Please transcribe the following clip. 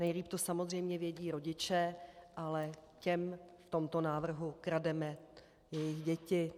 Nejlíp to samozřejmě vědí rodiče, ale těm v tomto návrhu krademe jejich děti.